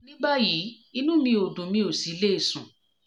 ní báyìí inú mi ò dùn mi ò sì le sùn